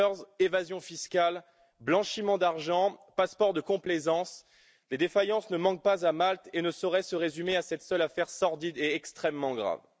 Papers, évasion fiscale, blanchiment d'argent, passeports de complaisance les défaillances ne manquent pas à Malte, et ne sauraient se résumer à cette seule affaire sordide et extrêmement grave.